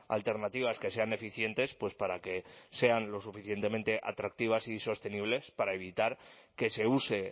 alternativas que sean eficientes pues para que sean lo suficientemente atractivas y sostenibles para evitar que se use